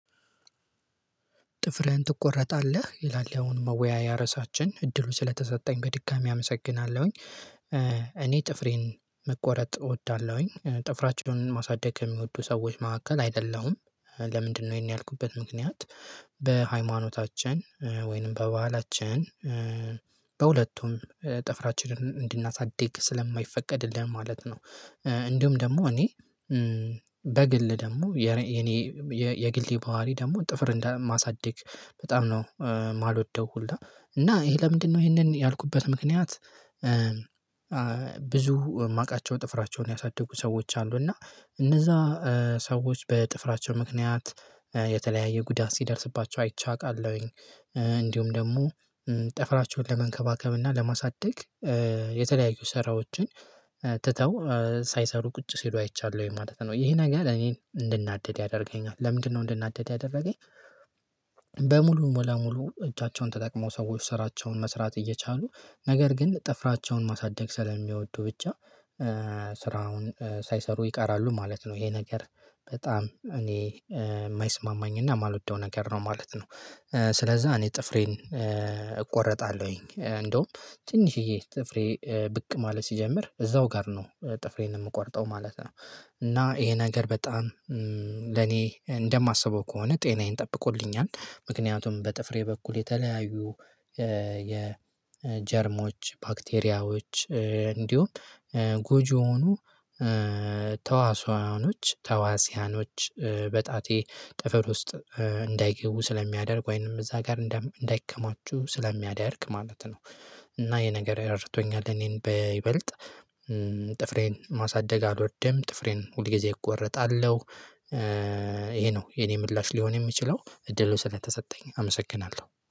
ጥፍርህን ትቆረጣለህ? ይላል ያሁኑ መወያያ ርዕሳችን። እድሉ ስለተሰጠኝ በድጋሚ አመሰግናለሁኝ። እኔ ጥፍሬን መቆረጥ እወዳለሁኝ። ጥፍራቸውን ማሳደግ የሚወዱ ሰዎች መካከል አይደለሁም። ለምንድነው ይሄን ያልኩበት ምክንያት በሃይማኖታችን ወይንም በባህላችን በሁለቱም ጥፍራችንን እንድናሳድግ ስለማይፈቀድልን ማለት ነው። እንዲሁም ደግሞ እኔ በግል ደግሞ የኔ የግሌ ባህሪ ደግሞ ጥፍር እንዳ ማሳደግ በጣም ነው የማልወደው ሁላ። እና ይሄ ለምንድነው ይሄንን ያልኩበት ምክንያት ብዙ የማውቃቸው ጥፍራቸውን ያሳደጉ ሰዎች አሉ። እና እነዛ ሰዎች በጥፍራቸው ምክንያት የተለያየ ጉዳት ሲደርስባቸው አይቼ አቃለሁኝ። እንዲሁም ደግሞ ጠፍራቸውን ለመንከባከብና ለማሳደግ የተለያዩ ስራዎችን ትተው ሳይሰሩ ቁጭ ሲሉ አይቻለሁኝ ማለት ነው። ይሄ ነገር እኔን እንድናደድ ያደርገኛል። ለምንድን ነው እንድናደድ ያደረገኝ በሙሉ ለሙሉ እጃቸውን ተጠቅመው ሰዎች ስራቸውን መስራት እየቻሉ ነገር ግን ጥፍራቸውን ማሳደግ ስለሚወዱ ብቻ ስራውን ሳይሰሩ ይቃራሉ ማለት ነው። ይሄ ነገር በጣም እኔ የማይስማማኝና የማልወደው ነገር ነው ማለት ነው። ስለዛ እኔ ጥፍሬን እቆረጣለሁኝ። እንደውም ትንሽዬ ጥፍሬ ብቅ ማለት ሲጀምር እዛው ጋር ነው ጥፍሬን የምቆርጠው ማለት ነው። እና ይሄ ነገር በጣም ለኔ እንደማስበው ከሆነ ጤናዬን ጠብቆልኛል። ምክንያቱም በጥፍሬ በኩል የተለያዩ የጀርሞች ባክቴሪያዎች እንዲሁም ጎጂ የሆኑ ተዋሲያኖች ተዋሲያኖች በጣቴ ጥፍር ውስጥ እንዳይገቡ ስለሚያደርግ ወይንም እዛ ጋር እንዳይከማቹ ስለሚያደርግ ማለት ነው። እና ይሄ ነገር ረድቶኛል እኔን በይበልጥ ጥፍሬን ማሳደግ አልወርድም ጥፍሬን ሁል ጊዜ እቆረጣለሁ ይሄ ነው የኔ ምላሽ ሊሆን የምችለው። እድሉ ስለተሰጠኝ አመሰግናለሁ።